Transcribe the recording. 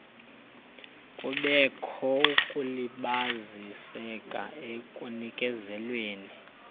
kubekho ukulibaziseka ekunikezelweni